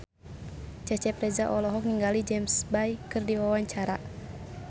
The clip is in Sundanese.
Cecep Reza olohok ningali James Bay keur diwawancara